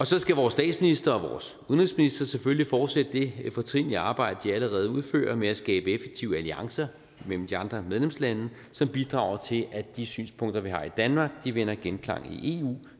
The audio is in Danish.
så skal vores statsminister og vores udenrigsminister selvfølgelig fortsætte det fortrinlige arbejde de allerede udfører med at skabe effektive alliancer mellem de andre medlemslande som bidrager til at de synspunkter vi har i danmark vinder genklang i eu